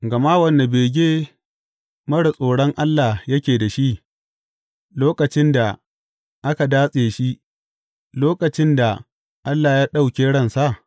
Gama wane bege marar tsoron Allah yake da shi, lokacin da aka datse shi, lokacin da Allah ya ɗauke ransa?